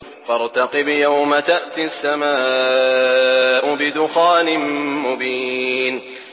فَارْتَقِبْ يَوْمَ تَأْتِي السَّمَاءُ بِدُخَانٍ مُّبِينٍ